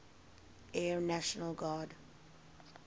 air national guard